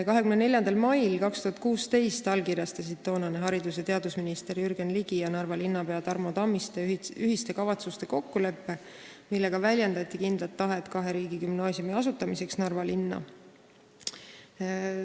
24. mail 2016 allkirjastasid toonane haridus- ja teadusminister Jürgen Ligi ja Narva linnapea Tarmo Tammiste ühiste kavatsuste kokkuleppe, millega väljendati kindlat tahet kahe riigigümnaasiumi asutamiseks Narva linna.